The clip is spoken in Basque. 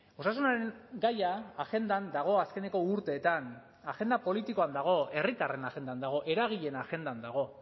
osasunaren gaia agendan dago azkeneko urteetan agenda politikoan dago herritarren agendan dago eragileen agendan dago